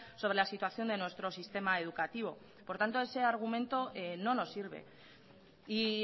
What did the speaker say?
sobre la situación de nuestro sistema educativo por tanto ese argumento no nos sirve y